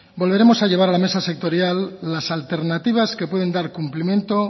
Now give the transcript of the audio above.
volveremos a llevar a la mesa sectorial las alternativas que pueden dar cumplimiento